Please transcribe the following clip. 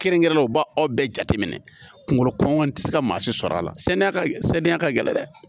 Kɛrɛnkɛrɛnnen u b'a aw bɛɛ jateminɛ kungolo kɔngɔ tɛ se ka maa si sɔrɔ a la sani a ka saniya ka gɛlɛn dɛ